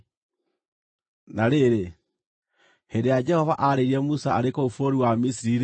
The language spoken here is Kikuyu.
Na rĩrĩ, hĩndĩ ĩrĩa Jehova aarĩirie Musa arĩ kũu bũrũri wa Misiri-rĩ,